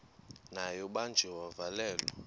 naye ubanjiwe wavalelwa